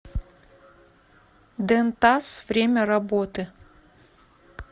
дентас время работы